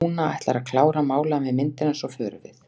Lúna ætlar að klára að mála af mér myndina og svo förum við.